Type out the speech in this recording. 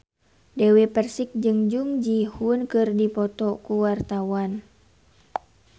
Dewi Persik jeung Jung Ji Hoon keur dipoto ku wartawan